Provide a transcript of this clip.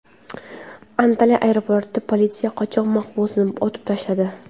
Antalya aeroportida politsiya qochoq mahbusni otib tashladi.